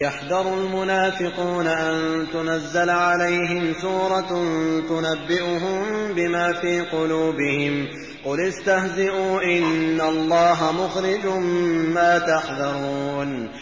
يَحْذَرُ الْمُنَافِقُونَ أَن تُنَزَّلَ عَلَيْهِمْ سُورَةٌ تُنَبِّئُهُم بِمَا فِي قُلُوبِهِمْ ۚ قُلِ اسْتَهْزِئُوا إِنَّ اللَّهَ مُخْرِجٌ مَّا تَحْذَرُونَ